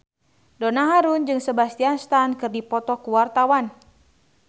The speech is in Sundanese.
Donna Harun jeung Sebastian Stan keur dipoto ku wartawan